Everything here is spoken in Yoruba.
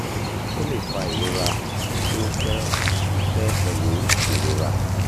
o le fa irora ti o pẹ pẹ pẹlu irora